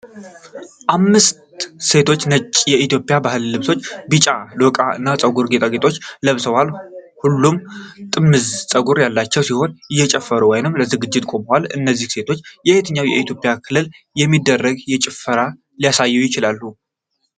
አምስት ሴቶች ነጭ የኢትዮጵያ ባህላዊ ልብሶች፣ ቢጫ ዶቃዎች እና የፀጉር ጌጣጌጦችን ለብሰዋል። ሁሉም ጥምዝ ፀጉር ያላቸው ሲሆን እየጨፈሩ ወይም ለዝግጅት ቆመዋል። እነዚህ ሴቶች በየትኛው የኢትዮጵያ ክልል የሚደረግን ጭፈራ ሊያሳዩ ይችላሉ?